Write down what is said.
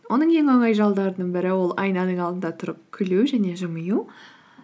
оның ең оңай жолдарының бірі ол айнаның алдында тұрып күлу және жымию